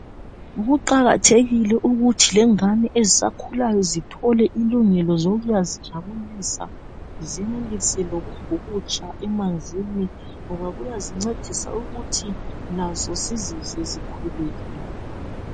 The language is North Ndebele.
Kuqakathekile ukuthi lengane ezisakhulayo zithole ilungelo lokuyazijabulisa zenelise lokubhukutsha emanzini ngoba kuyazincedisa ukuthi lazo zizizwe zikhululekile.